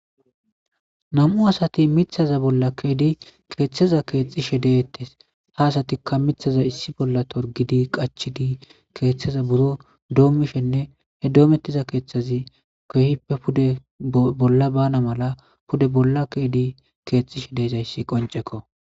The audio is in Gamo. nam7u asati mithaza bolla keedi keeththeza keexxishe deeettes ha asatikka mithaza issi bolla torgidi qachidi keeththeza buro doommishenne he doomettiza keeththazi kohippe pude bolla bana mala pude bolla keedi keexxishe deezayssi qoncekko